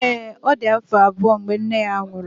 ee, ọ dị afọ abụọ mgbe nne ya nwụrụ